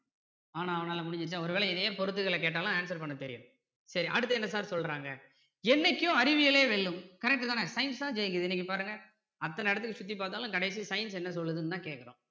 ஆனா ஆவன்னாலாம் முடிஞ்சுதா ஒரு வேலை இதையே பொருத்துதல்ல கேட்டாலும் answer பண்ண தெரியணும் சரி அடுத்து என்ன sir சொல்றாங்க என்னைக்கும் அறிவியலே வெல்லும் correct தானே science தான் ஜெயிக்குது இன்னைக்கு பாருங்க அத்தனை இடத்துக்கும் சுத்தி பார்த்தாலும் கடைசில science என்ன சொல்லுதுன்னு தான் கேட்கிறோம்